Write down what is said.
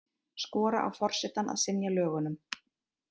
Skora á forsetann að synja lögunum